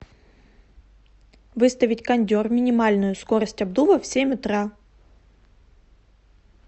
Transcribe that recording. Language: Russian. выставить кондер минимальную скорость обдува в семь утра